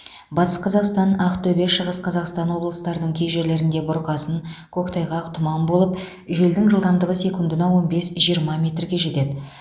батыс қазақстан ақтөбе шығыс қазақстан облыстарының кей жерлеріңде бұрқасын көктайғақ тұман болып желдің жылдамдығы секундына он бес жиырма метрге жетеді